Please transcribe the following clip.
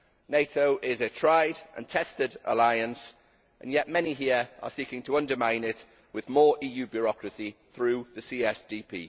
NATO is a tried and tested alliance, and yet many here are seeking to undermine it with more EU bureaucracy through the CSDP.